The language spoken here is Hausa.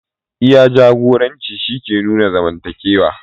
Iya jagoranci shi ke nuna mazantaka.